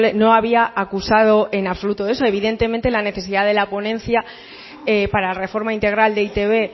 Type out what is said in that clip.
no había acusado en absoluto eso evidentemente la necesidad de la ponencia para reforma integral de e i te be